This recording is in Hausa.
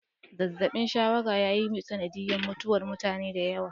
Zazabi shawara ya yi sanadiyar mutuwar mutane da yawa.